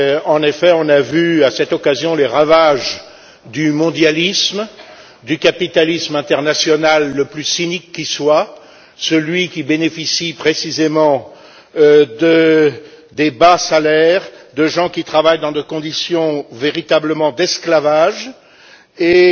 En effet, on a vu, à cette occasion, les ravages du mondialisme, du capitalisme international le plus cynique qui soit, celui qui bénéficie précisément des bas salaires, de gens qui travaillent dans des conditions véritablement d'esclavage et